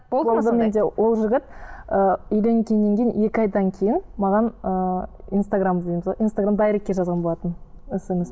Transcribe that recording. ол жігіт і үйленгеннен кейін екі айдан кейін маған ыыы инстаграм дейміз ғой инстаграм дайректке жазған болатын